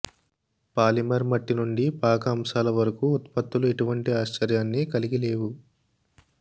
polymer మట్టి నుండి పాక అంశాల వరకు ఉత్పత్తులు ఎటువంటి ఆశ్చర్యాన్ని కలిగి లేవు